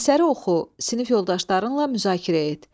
Əsəri oxu, sinif yoldaşlarınla müzakirə et.